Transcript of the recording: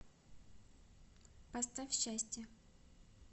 поставь счастье